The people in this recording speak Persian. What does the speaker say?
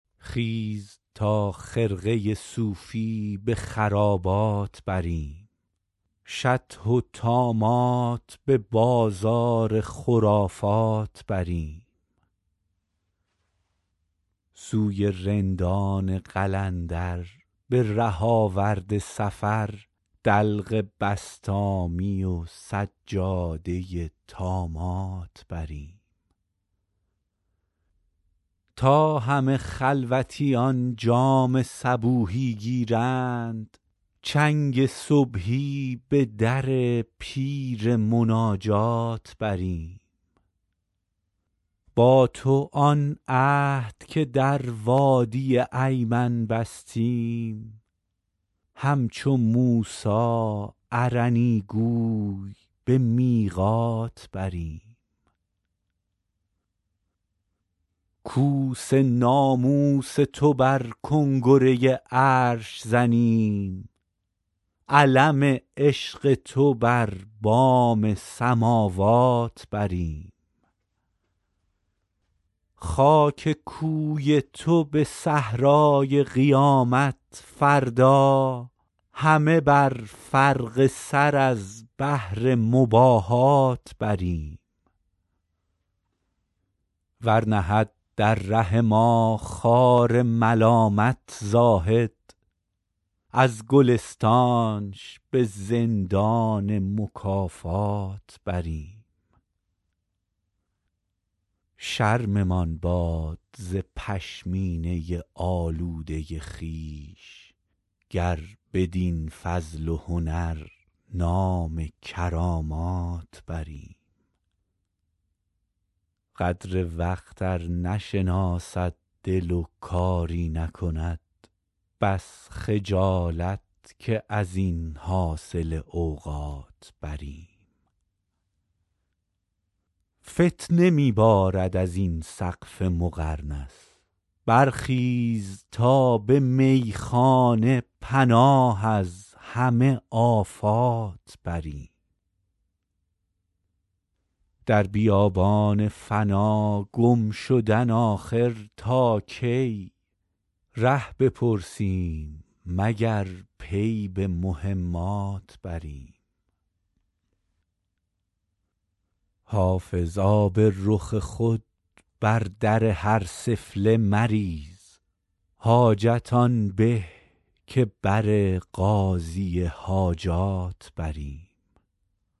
خیز تا خرقه صوفی به خرابات بریم شطح و طامات به بازار خرافات بریم سوی رندان قلندر به ره آورد سفر دلق بسطامی و سجاده طامات بریم تا همه خلوتیان جام صبوحی گیرند چنگ صبحی به در پیر مناجات بریم با تو آن عهد که در وادی ایمن بستیم همچو موسی ارنی گوی به میقات بریم کوس ناموس تو بر کنگره عرش زنیم علم عشق تو بر بام سماوات بریم خاک کوی تو به صحرای قیامت فردا همه بر فرق سر از بهر مباهات بریم ور نهد در ره ما خار ملامت زاهد از گلستانش به زندان مکافات بریم شرممان باد ز پشمینه آلوده خویش گر بدین فضل و هنر نام کرامات بریم قدر وقت ار نشناسد دل و کاری نکند بس خجالت که از این حاصل اوقات بریم فتنه می بارد از این سقف مقرنس برخیز تا به میخانه پناه از همه آفات بریم در بیابان فنا گم شدن آخر تا کی ره بپرسیم مگر پی به مهمات بریم حافظ آب رخ خود بر در هر سفله مریز حاجت آن به که بر قاضی حاجات بریم